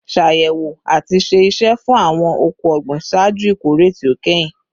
Ṣayẹwo ati ṣe iṣẹ fun awọn ọkọ ogbin ṣaaju ikore ti o kẹhin